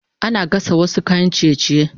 Ana gasa wasu kayan ciye-ciye